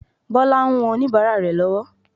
Bọlá ń wọn oníbàárà rẹ̀ lọ́wọ́.